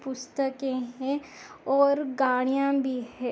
पुस्तके है और गाड़िया भी है।